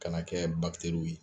Ka na kɛ ye